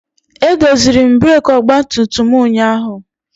Edoziri m breekị ọgbatumtum m. ụnyaahụ